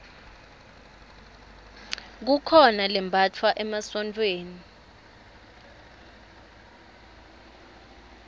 kukhona lembatfwa emasontfweni